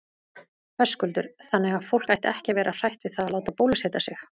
Höskuldur: Þannig að fólk ætti ekki að vera hrætt við það að láta bólusetja sig?